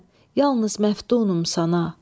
fəqət mən yalnız məftunam sana.